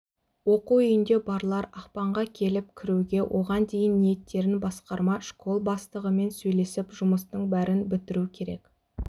оқу үйінде барлар ақпанға келіп кіруге оған дейін ниеттерін басқарма школ бастығымен сөйлесіп жұмыстың бәрін бітіру керек